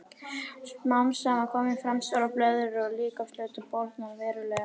Smám saman koma fram stórar blöðrur og líkamshlutinn bólgnar verulega.